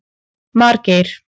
Margeir